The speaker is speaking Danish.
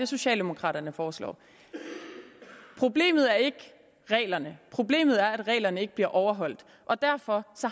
socialdemokraterne foreslår problemet er ikke reglerne problemet er at reglerne ikke bliver overholdt og derfor